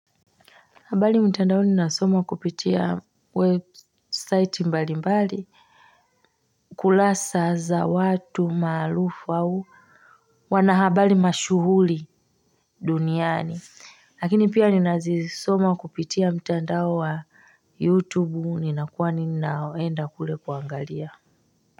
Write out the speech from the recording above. Habari mtandaoni nasoma kupitia website mbalimbali kurasa za watu maarufu au wanahabari mashuhuri duniani lakini pia ninazisoma kupitia mtandao wa youtube ninakuwa ninaenda kule kuangalia.